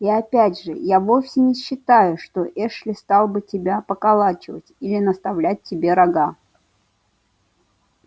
и опять же я вовсе не считаю что эшли стал бы тебя поколачивать или наставлять тебе рога